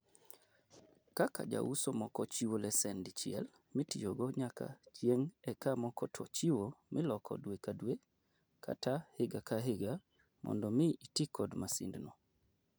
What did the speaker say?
Kaka jouso moko chiwo lesen dichiel mitiyogo nyaka chieng' eka moko to chiwo miloko dwe kadwe kata higa kahiga mondo mii itii kod masindno.